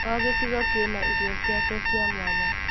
O gĩcigo kĩna irio ciake cia mwanya.